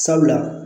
Sabula